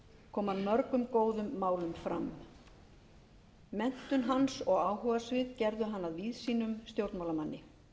kom hann mörgum góðum málum fram menntun hans og áhugasvið gerðu hann að víðsýnum stjórnmálamanni